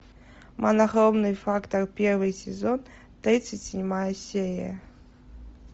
монохромный фактор первый сезон тридцать седьмая серия